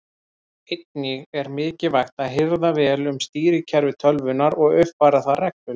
Einnig er mikilvægt að hirða vel um stýrikerfi tölvunnar og uppfæra það reglulega.